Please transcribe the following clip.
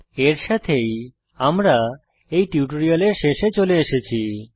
এর সাথেই আমরা টিউটোরিয়ালের শেষে চলে এসেছি